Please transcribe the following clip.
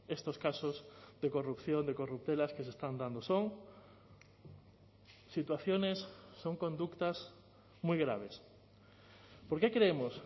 estos casos de corrupción de corruptelas que se están dando son situaciones son conductas muy graves porque creemos